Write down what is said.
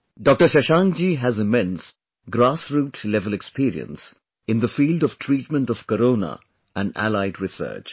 Dr Shashank ji has immense grassroot level experience in the field of treatment of Corona and allied research